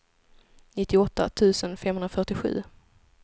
nittioåtta tusen femhundrafyrtiosju